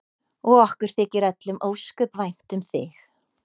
Og okkur þykir öllum ósköp vænt um þig.